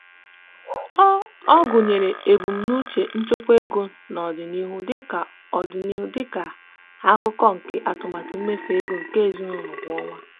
ọ gụnyere ebumnuche nchekwa ego n'ọdịnihu dị ka n'ọdịnihu dị ka akụkụ nke atụmatụ mmefu ego nke ezinụụlọ kwa ọnwa.